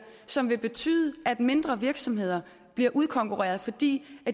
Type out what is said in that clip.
som vil betyde at mindre virksomheder bliver udkonkurreret fordi